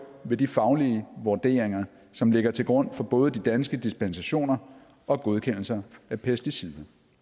ved de faglige vurderinger som ligger til grund for både de danske dispensationer og godkendelser af pesticider